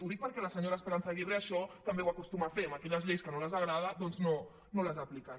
ho dic perquè la senyora esperanza aguirre això també ho acostuma a fer aquelles lleis que no li agraden doncs no les apliquen